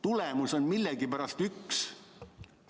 Tulemus on millegipärast üks.